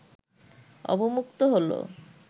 অবমুক্ত হলো